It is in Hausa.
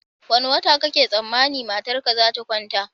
Wane wata kake tsammanin matarka zata kwanta?